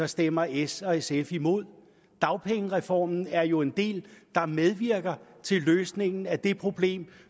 stemmer s og sf imod dagpengereformen er jo en del der medvirker til løsningen af det problem